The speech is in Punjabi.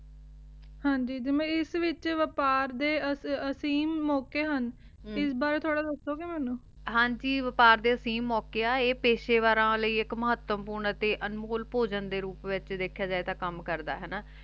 ਹਾਂਜੀ ਜਿਵੇਂ ਇਸ ਵਿਚ ਵਿਆਪਾਰ ਦੇ ਅਸੀਮ ਮੋਕੇ ਹਨ ਇਸ ਬਾਰੇ ਥੋਰਾ ਦਸੋ ਗੇ ਮੇਨੂ ਹਾਂਜੀ ਵਿਆਪਾਰ ਦੇ ਅਸੀਮ ਮੋਕੇ ਤੇ ਆਯ ਪੇਸ਼ੇ ਵਾਰਾਂ ਲੈ ਏਇਕ ਮਹਤਵਪੂਰਣ ਤੇ ਅਨਮੋਲ ਭੋਜਨ ਦੇ ਰੂਪ ਵਿਚ ਵੇਖ੍ਯਾ ਜੇ ਤਾਂ ਕਾਮ ਕਰਦਾ ਆਯ